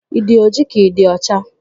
Ị dị ojii ka ị dị ọcha?